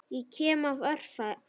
Ég kem af öræfum.